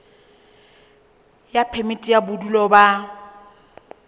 ya phemiti ya bodulo ba